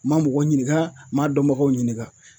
N ma mɔgɔ ɲininga n ma dɔnbagaw ɲininga